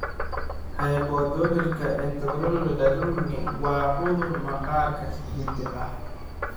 Hypohidrotika ectodomalka dysplasiga (HED) waa cudur maqaarka hidde ah.